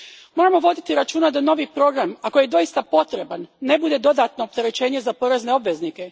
Moramo voditi računa da novi program, ako je doista potreban, ne bude dodatno opterećenje za porezne obveznike.